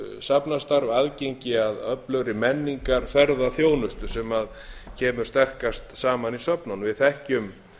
öflugt safnastarf aðgengi að öflugri menningarferð og þjónustu sem kemur sterkast saman í söfnunum við þekkjum